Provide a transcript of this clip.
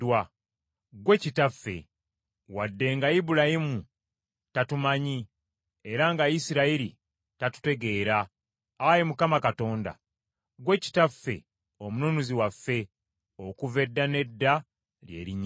Ggwe Kitaffe, wadde nga Ibulayimu tatumanyi era nga Isirayiri tatutegeera, Ayi Mukama Katonda, ggwe Kitaffe Omununuzi waffe okuva edda n’edda lye linnya lyo.